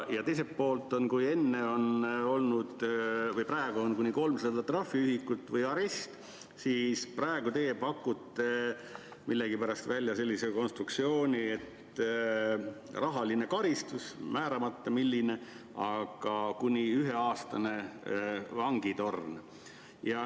Ja teiselt poolt, kui praegu on karistuseks kuni 300 trahviühikut või arest, siis teie pakute millegipärast välja sellise konstruktsiooni, et on rahaline karistus, määramata milline, ja kuni üheaastane vangitorn.